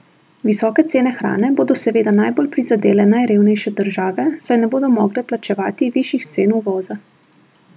Visoke cene hrane bodo seveda najbolj prizadele najrevnejše države, saj ne bodo mogle plačevati višjih cen uvoza.